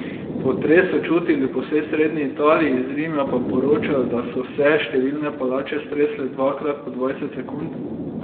Potres so čutili po vsej srednji Italiji, iz Rima pa poročajo, da so se številne palače stresle dvakrat po dvajset sekund.